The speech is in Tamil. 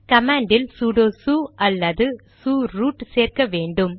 கமாண்ட் இல் சூடொ சு அல்லது சு ரூட் சேர்க்க வேண்டும்